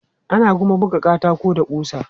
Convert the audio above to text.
Ana kuma buga katako da ƙusa.